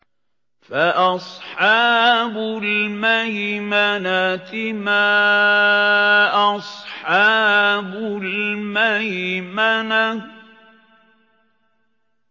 فَأَصْحَابُ الْمَيْمَنَةِ مَا أَصْحَابُ الْمَيْمَنَةِ